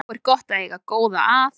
Þá er gott að eiga góða að.